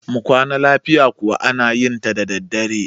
mu Kwana lafiya kuwa ana yinta daddadre